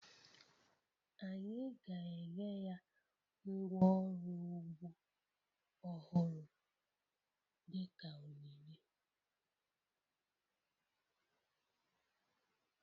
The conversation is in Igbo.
Anyị ga-enye ya ngwá ọrụ ugbo ọhụrụ dị ka onyinye